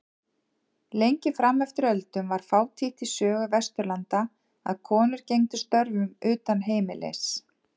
Lengi fram eftir öldum var fátítt í sögu Vesturlanda að konur gegndu störfum utan heimilis.